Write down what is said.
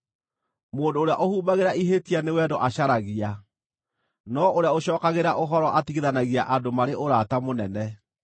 Mũndũ ũrĩa ũhumbagĩra ihĩtia nĩ wendo acaragia, no ũrĩa ũcookagĩra ũhoro atigithanagia andũ marĩ ũrata mũnene.